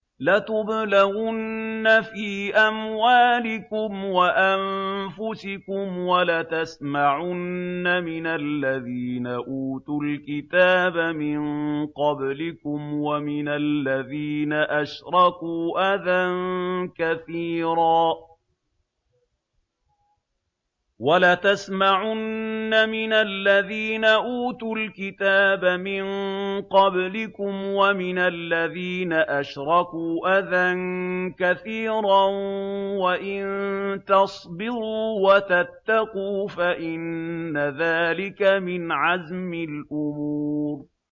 ۞ لَتُبْلَوُنَّ فِي أَمْوَالِكُمْ وَأَنفُسِكُمْ وَلَتَسْمَعُنَّ مِنَ الَّذِينَ أُوتُوا الْكِتَابَ مِن قَبْلِكُمْ وَمِنَ الَّذِينَ أَشْرَكُوا أَذًى كَثِيرًا ۚ وَإِن تَصْبِرُوا وَتَتَّقُوا فَإِنَّ ذَٰلِكَ مِنْ عَزْمِ الْأُمُورِ